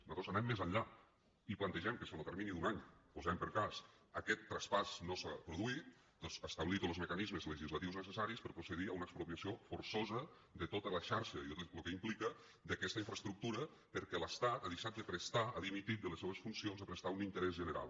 nosaltres anem més enllà i plantegem que si en lo termini d’un any posem per cas aquest traspàs no s’ha produït doncs establir tots los mecanismes legislatius necessaris per a procedir a una expropiació forçosa de tota la xarxa i de tot lo que implica d’aquesta infraestructura perquè l’estat ha deixat de prestar ha dimitit de les seues funcions de prestar un interès general